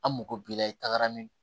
An mako b'i la i tagara ni